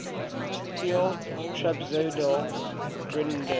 steel trapezoidal girders